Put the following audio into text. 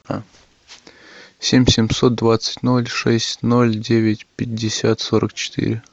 семь семьсот двадцать ноль шесть ноль девять пятьдесят сорок четыре